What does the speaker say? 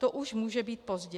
To už může být pozdě.